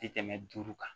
Tɛ tɛmɛ duuru kan